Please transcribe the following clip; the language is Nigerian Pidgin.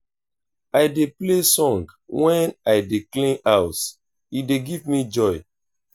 i dey play song wen i dey clean house e dey give me joy.